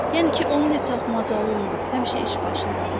Yəni ki, onun heç axmacalı olmur, həmişə iş başındadır.